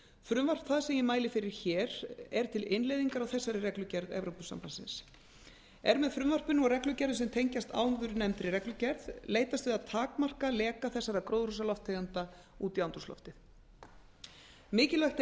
frumvarp það sem ég mæli fyrir hér er til innleiðingar á þessari reglugerð e b er með frumvarpinu og reglugerðum sem tengjast áðurnefndri reglugerð leitast við að takmarka leka þessara gróðurhúsalofttegunda út í andrúmsloftið mikilvægt